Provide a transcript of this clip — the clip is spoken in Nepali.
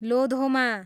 लोधोमा